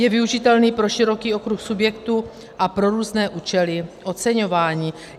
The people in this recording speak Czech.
Je využitelný pro široký okruh subjektů a pro různé účely oceňování.